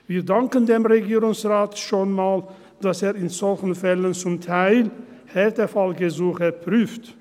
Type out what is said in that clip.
Wir danken dem Regierungsrat schon mal, dass er in solchen Fällen zum Teil Härtefallgesuche prüft.